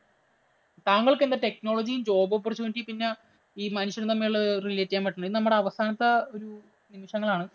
താങ്കള്‍ക്ക് എന്താ technology, job opportunity പിന്നെ ഈ മനുഷ്യനും തമ്മില്‍ relate ചെയ്യാന്‍ പറ്റണേ. ഇത് നമ്മുടെ അവസാനത്തെ ഒരു നിമിഷങ്ങളാണ്.